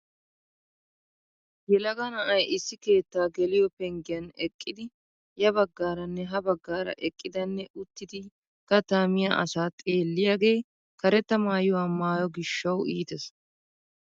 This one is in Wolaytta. Yelaga na'ay issi keettaa geliyoo penggiyaan eqqidi ya baggaaranne ha baggaara eqqidanne uttidi kattaa miyaa asaa xeelliyagee karetta maayuwaa maayo giishshawu iitees.